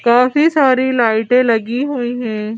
काफी सारी लाइटें लगी हुई हैं।